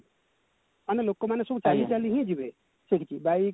ମାନେ ଲୋକମାନେ ସବୁ ଚାଲି ଚାଲି ହିଁ ଯିବେ bike